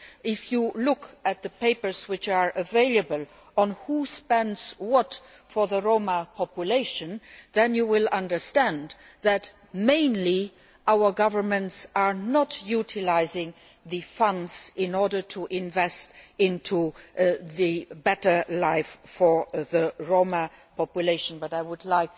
If you look at the papers that are available on who spends what for the Roma population, then you will understand that, in the main, our governments are not utilising funds to invest in a better life for the Roma population, though I will leave